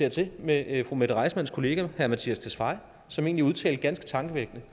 a tete med fru mette reissmanns kollega herre mattias tesfaye som egentlig udtalte ganske tankevækkende